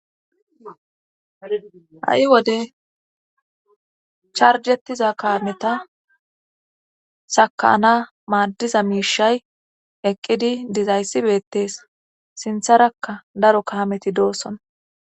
Ha.i wode charjettiza kaameta sakana maaddiza miishay eqqidi dizayssibeettees sintharakka daro kaameti doosson